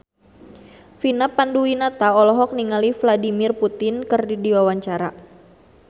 Vina Panduwinata olohok ningali Vladimir Putin keur diwawancara